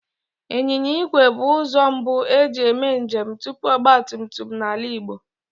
Ịnyịnya igwe bụ ụzọ mbu e ji eme njem tupu ọgbatumtum n'ala Igbo